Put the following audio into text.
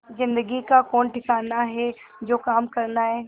जिंदगी का कौन ठिकाना है जो काम करना है